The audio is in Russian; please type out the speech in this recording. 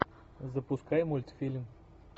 запускай мультфильм